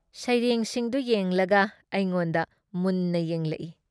ꯁꯩꯔꯦꯡꯁꯤꯡꯗꯨ ꯌꯦꯡꯂꯒ ꯑꯩꯉꯣꯟꯗ ꯃꯨꯟꯅ ꯌꯦꯡꯂꯛ ꯏ ꯫